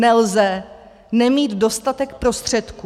Nelze nemít dostatek prostředků.